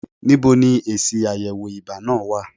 Níbo ni èsì àyẹ̀wò ibà náà wà?